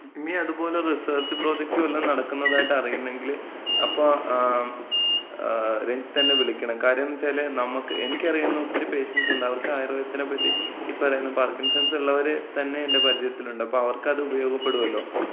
ഇനി അതുപോലെ research project വല്ലതും നടക്കുന്നതായിട്ട് അറിയുന്നങ്കില് അപ്പോ ആ മ്.. രഞ്ജിത്തെന്നെ വിളിക്കണം. കാര്യംന്ന് വെച്ചാല്, നമ്മക്ക്, എനിക്ക്യറിയുന്ന ഒത്തിരി പേഷ്യൻസ് ഉണ്ട്. അവർക്ക് ആയുർവേദത്തിനെ പറ്റി, ഇപ്പറയുന്ന പാർക്കിൻസൺസ് ഉള്ള, ഇള്ളവരെ തന്നെ എന്‍റെപരിജയത്തില്ണ്ട്. അപ്പം അവർക്കത് ഉപയോഗപ്പെടുമല്ലോ.